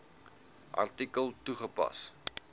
artikel toegepas